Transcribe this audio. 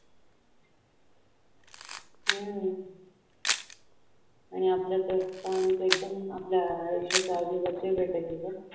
आणि आपल्या तर पाणी तर एकदम आपल्या आयुष्याचा अविभाज्य घटक आहे.